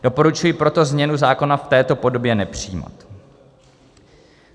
Doporučuji proto změnu zákona v této podobě nepřijímat.